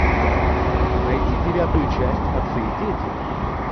найти девятую часть отцы и дети